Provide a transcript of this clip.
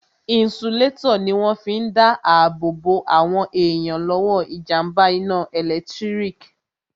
Inisulétọ̀ ní wọ́n fi n dá ààbò bo àwọn èèyàn lọ́wọ́ jàmbá iná ẹ̀lẹ́tírík